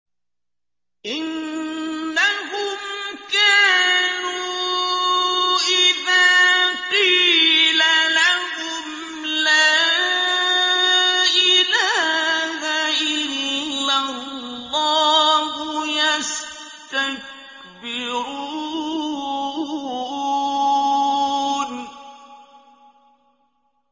إِنَّهُمْ كَانُوا إِذَا قِيلَ لَهُمْ لَا إِلَٰهَ إِلَّا اللَّهُ يَسْتَكْبِرُونَ